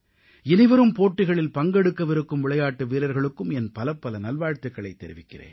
இனிவரும் போட்டிகளில் பங்கெடுக்கவிருக்கும் விளையாட்டு வீரர்களுக்கும் என் பலப்பல நல்வாழ்த்துகளைத் தெரிவிக்கிறேன்